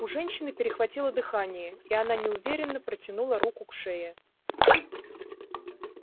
у женщины перехватило дыхание и она неуверенно протянула руку к шее